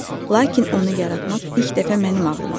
Lakin onu yaratmaq ilk dəfə mənim ağlıma gəlib.